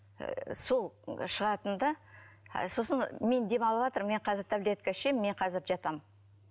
і сол шығатын да сосын і мен демалыватырмын мен қазір таблетка ішемін мен қазір жатамын